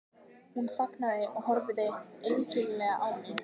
Hún þagnaði og horfði einkennilega á mig.